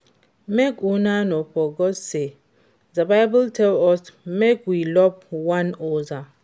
Make una no forget say the bible tell us make we love one another